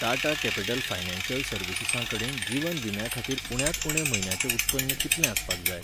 Tata capital financial सर्विसीसां कडेन जिवन विम्या खातीर उण्यांत उणें म्हयन्याचें उत्पन्न कितलें आसपाक जाय?